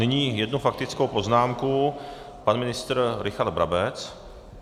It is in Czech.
Nyní jedna faktická poznámka, pan ministr Richard Brabec.